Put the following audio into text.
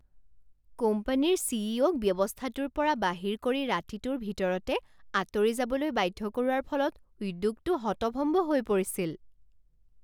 কোম্পানীৰ C E অ'ক ব্যৱস্থাটোৰ পৰা বাহিৰ কৰি ৰাতিটোৰ ভিতৰতে আঁতৰি যাবলৈ বাধ্য কৰোৱাৰ ফলত উদ্যোগটো হতভম্ব হৈ পৰিছিল।